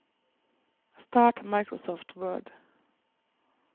start Microsoft Word